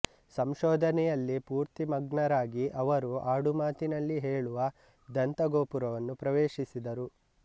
ಸಂಶೋಧನೆಯಲ್ಲಿ ಪೂರ್ತಿಮಗ್ನರಾಗಿ ಅವರು ಆಡುಮಾತಿನಲ್ಲಿ ಹೇಳುವ ದಂತ ಗೋಪುರವನ್ನು ಪ್ರವೇಶಿಸಿದರು